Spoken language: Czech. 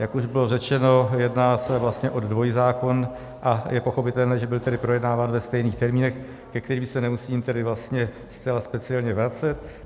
Jak už bylo řečeno, jedná se vlastně o dvojzákon a je pochopitelné, že byl tedy projednáván ve stejných termínech, ke kterým se nemusím tedy vlastně zcela speciálně vracet.